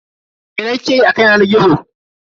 Mene kike yi a kan yanar gizo?